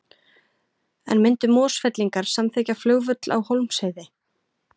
En myndu Mosfellingar samþykkja flugvöll á Hólmsheiði?